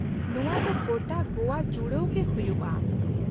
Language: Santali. ᱱᱚᱶᱟ ᱫᱚ ᱜᱚᱴᱟ ᱜᱚᱣᱟ ᱡᱩᱲᱟᱹᱣ ᱜᱮ ᱦᱩᱭᱩᱜᱼᱟ ᱾